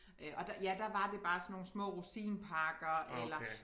Øh og der ja der var det bare sådan nogle små rosinpakker eller